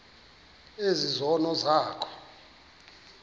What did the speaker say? ezi zono zakho